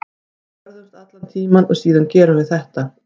Við börðumst allan tímann og síðan gerum við þetta.